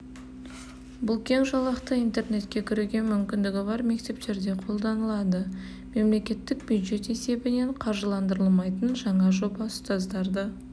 бұл кең жолақты интернетке кіруге мүмкіндігі бар мектептерде қолданылады мемлекеттік бюджет есебінен қаржыландырылмайтын жаңа жоба ұстаздарды